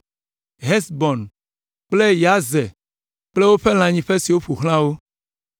Hesbon kple Yazer kple lãnyiƒe siwo ƒo xlã wo.